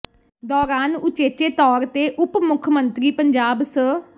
ਦੌਰਾਨ ੳੱੁਚੇਚੇ ਤੌਰ ਤੇ ਉਪ ਮੁੱਖ ਮੰਤਰੀ ਪੰਜਾਬ ਸ